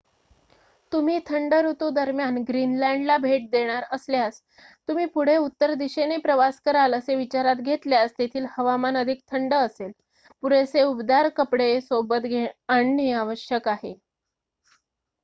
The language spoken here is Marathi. तुम्ही थंड ऋतू दरम्यान ग्रीनलँडला भेट देणार असल्यास तुम्ही पुढे उत्तर दिशेने प्रवास कराल असे विचारात घेतल्यास तेथील हवामान अधिक थंड असेल. पुरेसे उबदार कपडे सोबत आणणे आवश्यक आहे